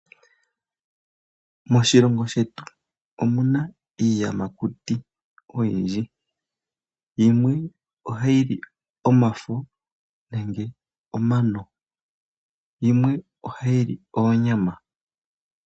Moshilongo shetu omuna iiyamakuti oyindji, Yimwe oha yili omafo nenge omano yo yimwe ohayili oonyama.